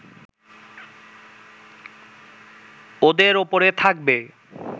ওদের ওপরে থাকবে